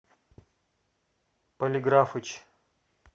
полиграфычъ